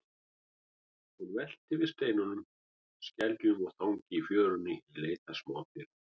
Hún veltir við steinum, skeljum og þangi í fjörunni í leit að smádýrum.